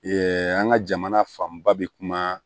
Ee an ka jamana fanba bɛ kuma